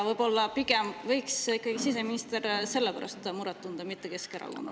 Võib-olla pigem võiks siseminister selle pärast muret tunda, mitte Keskerakonna pärast.